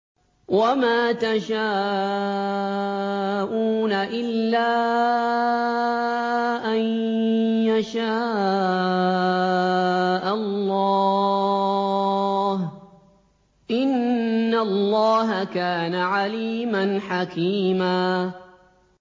وَمَا تَشَاءُونَ إِلَّا أَن يَشَاءَ اللَّهُ ۚ إِنَّ اللَّهَ كَانَ عَلِيمًا حَكِيمًا